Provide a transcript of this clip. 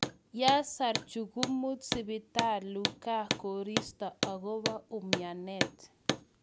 Yasar jukumut sibitalu ngaa kisirto akobo umianet.